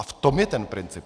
A v tom je ten princip.